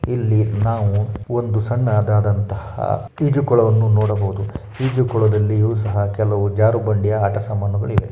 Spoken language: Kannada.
ಇಲ್ಲಿ ನಾವು ಒಂದು ಸಣ್ಣದಾದಂತಹ ಈಜುಕೊಳವನ್ನು ನೋಡಬಹುದು. ಈಜುಕೊಳದಲ್ಲಿಯೂ ಸಹ ಕೆಲವು ಕೆಲವೊಂದು ಜಾರು ಬಂಡ ಗಳೂ ಆಟದ ಸಾಮಾನುಗಳು ಇವೆ.